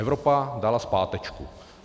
Evropa dala zpátečku.